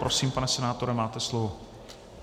Prosím, pane senátore, máte slovo.